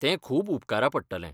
तें खूब उपकारा पडटलें.